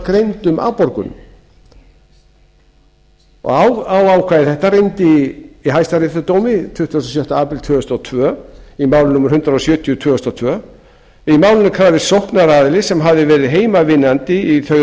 greindum afborgunum á ákvæði þetta reyndi í dómi hæstaréttar frá tuttugasta og sjötta apríl tvö þúsund og tvö í máli númer hundrað sjötíu tvö þúsund og tvö í málinu krafðist sóknaraðili sem hafði verið heimavinnandi í þau